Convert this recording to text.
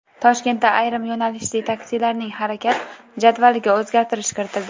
Toshkentda ayrim yo‘nalishli taksilarning harakat jadvaliga o‘zgartirish kiritildi.